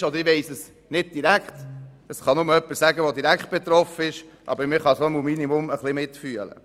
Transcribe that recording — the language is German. Gut, ich weiss es nicht direkt, das kann nur jemand wissen, der direkt betroffen ist, aber man kann zumindest etwas mitfühlen.